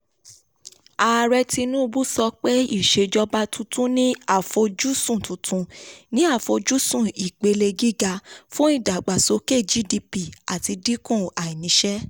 ààrẹ tinubu sọ pé ìṣèjọba tuntun ní àfojúsùn tuntun ní àfojúsùn ipele gíga fún ìdàgbàsókè gdp àti dínkù àìnísẹ́.